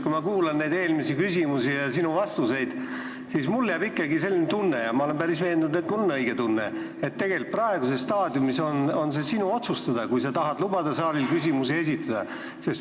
Kui ma kuulasin neid küsimusi ja sinu vastuseid, siis jäi mulle ikkagi selline tunne – ma olen päris veendunud, et see on õige tunne –, et tegelikult praeguses staadiumis on see sinu otsustada, kas sa tahad lubada saalil küsimusi esitada.